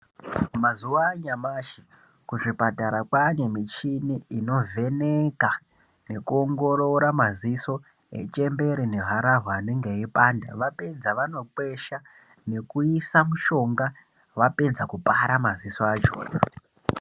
Mazuwa anyamushi kuzvipatara kwaane michini inovheneka nekuongorora madziso echembere neharahwa anenge eipanda. Vapedza vanokwesha nekuisa mushonga. Vapedza vovhara madziso acho.